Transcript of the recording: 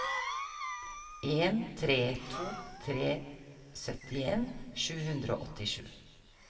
en tre to tre syttien sju hundre og åttisju